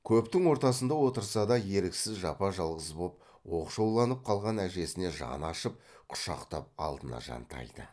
көптің ортасында отырса да еріксіз жапа жалғыз боп оқшауланып қалған әжесіне жаны ашып құшақтап алдына жантайды